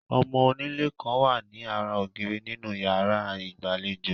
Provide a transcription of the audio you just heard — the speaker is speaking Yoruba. Ọmọ onílé kan wà ní ara ògiri nínú ìyàrá ìgbàlejò.